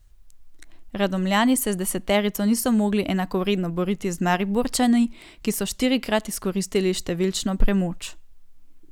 Radomljani se z deseterico niso mogli enakovredno boriti z Mariborčani, ki so štirikrat izkoristili številčno premoč.